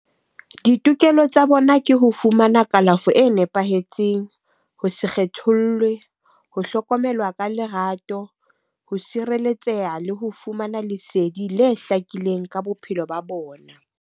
Ditokelo tsa bona ke ho fumana kalafo e nepahetseng, ho se kgethollwe, ho hlokomelwa ka lerato, ho sireletseha le ho fumana lesedi le hlakileng ka bophelo ba bona.